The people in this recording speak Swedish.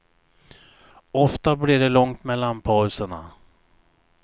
Ofta blir det långt mellan pauserna.